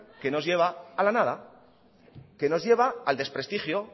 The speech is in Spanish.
que nos lleva a la nada que nos lleva al desprestigio